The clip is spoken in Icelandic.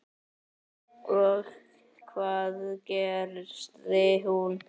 Og hvað gerði hún?